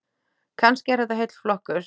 Kannski er þetta heill flokkur.